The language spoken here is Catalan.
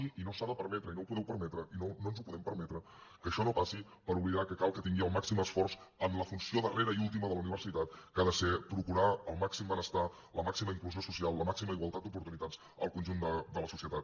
i no s’ha de permetre i no ho podeu permetre i no ens ho podem permetre que això no passi per oblidar que cal que tingui el màxim esforç en la funció darrera i última de la universitat que ha de ser procurar el màxim benestar la màxima inclusió social la màxima igualtat d’oportunitats al conjunt de la societat